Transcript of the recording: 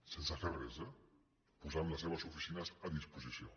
sense fer res eh posant les seves oficines a disposició